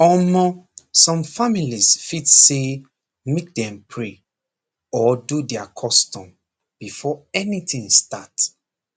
omor some families fit say make dem pray or do their custom before anything start